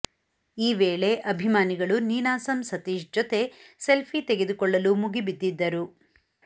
ಈ ವೇಳೆ ಅಭಿಮಾನಿಗಳು ನಿನಾಸಂ ಸತೀಶ್ ಜೊತೆ ಸೆಲ್ಫಿ ತೆಗೆದುಕೊಳ್ಳಲು ಮುಗಿಬಿದ್ದಿದ್ದರು